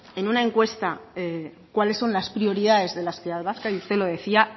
en una encuesta cuáles son las prioridades de la sociedad vasca y usted lo decía